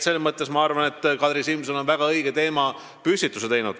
Selles mõttes, ma arvan, on Kadri Simson väga õige teema püstitanud.